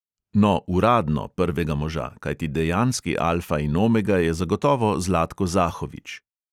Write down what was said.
No, uradno prvega moža, kajti dejanski alfa in omega je zagotovo zlatko zahović.